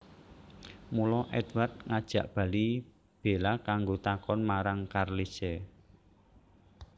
Mula Édward ngajak bali Bella kanggo takon marang Carlisle